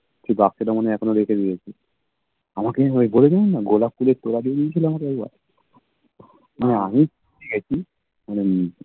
সেই বাক্সটা মনে হয় এখনো রেখে দিয়েছি আমাকে ওই বলে দিলাম না গোলাপ ফুলের তোরা দিয়ে দিয়েছিল আমাকে একবার না আমি মানে আমি চেয়েছি মানে